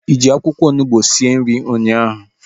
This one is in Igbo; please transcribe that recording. Ị ji akwụkwọ onugbu sie nri ahu?